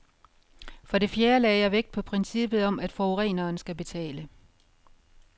For det fjerde lagde jeg vægt på princippet om, at forureneren skal betale.